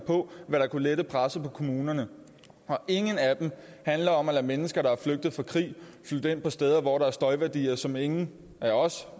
på hvad der kunne lette presset på kommunerne og ingen af dem handler om at lade mennesker der er flygtet fra krig flytte ind på steder hvor der er støjværdier som ingen af os